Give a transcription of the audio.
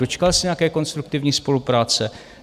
Dočkal se nějaké konstruktivní spolupráce?